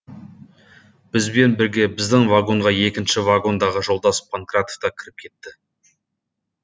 бізбен бірге біздің вагонға екінші вагондағы жолдас панкратов та кіріп кетті